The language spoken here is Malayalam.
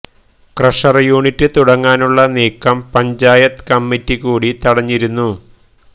ക്രഷര് യൂണിറ്റ് തുടങ്ങാനുള്ള നീക്കം പഞ്ചായത്ത് കമ്മറ്റി കൂടി തടഞ്ഞിരുന്നു